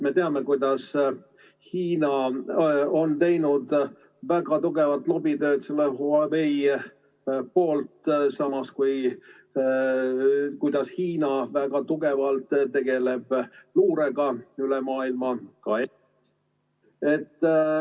Me teame, kuidas Hiina on teinud väga tugevat lobitööd Huawei poolt, samas, teame, et Hiina väga tugevalt tegeleb luurega üle maailma, ka ...